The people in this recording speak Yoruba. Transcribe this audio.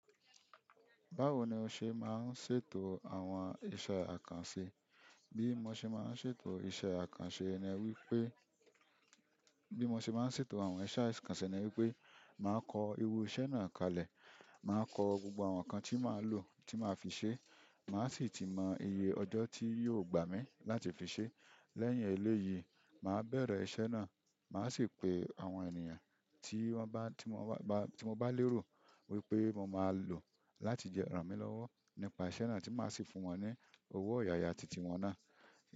Báwo ni o ṣe máa ń ṣètò àwọn iṣẹ́ àkànṣe? Bí mo ṣe máa ń ṣètò iṣẹ́ àkànṣe ni wípé, bí mo ṣe máa ń ṣètò àwọn iṣẹ́ àkànṣe ni wípé màá kọ iru iṣẹ́ náà kalẹ̀, màá kọ gbogbo àwọn ǹnkan tí màá lò, tí màá fi ṣe, màá sì ti mọ iye ọjọ́ tí yóò gbà mí láti fi ṣe. Lẹ́yìn eléyìí, màá bẹ̀rẹ̀ iṣẹ́ náà, màá sì pe àwọn ènìyàn tí wọ́n bá, tí mo bá, tí mo bá lérò wípé mo máa lò láti le ranmi lọ́wọ́ nípa iṣẹ́ náà tí màá sì fún wọn ní owó ọ̀yàyà titi wọn náà.